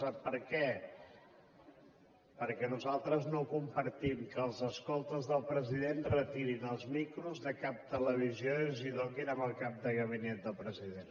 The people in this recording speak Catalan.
sap per què perquè nosaltres no compartim que els escoltes del president retirin els micros de cap televisió i els donin al cap de gabinet del president